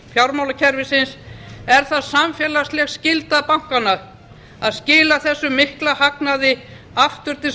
fjármálakerfisins er það samfélagsleg skylda bankanna að skila þessum mikla hagnaði aftur til